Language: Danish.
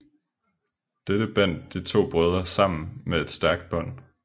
Dette bandt de to brødre sammen med et stærkt bånd